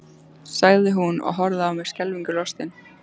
sagði hún og horfði á mig skelfingu lostin.